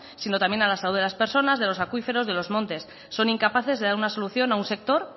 sino también a la salud de las personas de los acuíferos de los montes son incapaces de dar una solución a un sector